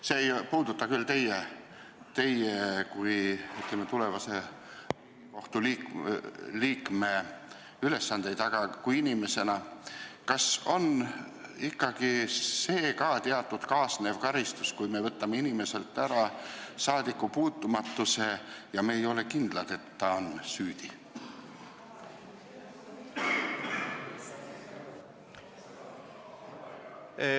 See ei puuduta küll teie kui tulevase Riigikohtu liikme ülesandeid, aga mida te arvate isiklikult: kas on ikkagi õige see teatud kaasnev karistus, kui me võtame inimeselt ära saadikupuutumatuse, kuigi ei ole kindlad, et ta on süüdi?